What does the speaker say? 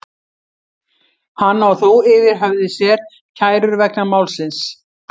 Hann á þó yfir höfði sér kærur vegna málsins.